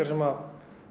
sem